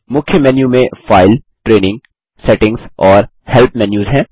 मुख्य मेन्यू में file training settings और हेल्प मेन्यूस हैं